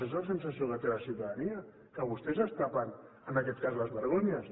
és la sensació que té la ciutadania que vostès es tapen en aquest cas les vergonyes